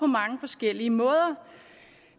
mange forskellige måder